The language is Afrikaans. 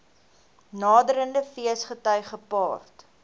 naderende feesgety gepaard